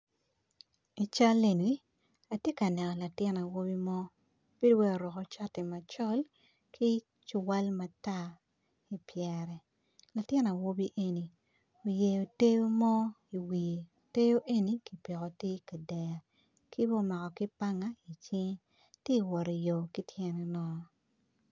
I cal eni atye ka neno latin awobi mo bedo wai oruko cati macol ki ciwal matar ipyere latin awobi eni oyeo ter mo, ter eni kipiko ter kader kibene omako panga icinge tye wot i yo kityene nono.